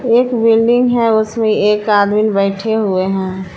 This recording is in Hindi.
एक बिल्डिंग है उसमें एक आदमीन बैठे हुए हैं।